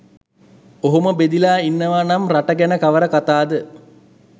ඔහොම බෙදිලා ඉන්නවා නම් රට ගැන කවර කතාද?